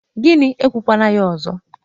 Gini! Ekwukwala ya ọzọ.